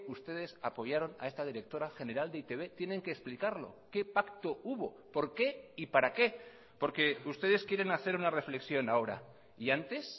ustedes apoyaron a esta directora general de e i te be tienen que explicarlo qué pacto hubo por qué y para qué porque ustedes quieren hacer una reflexión ahora y antes